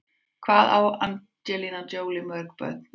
Hvað á Angelina Jolie mörg börn?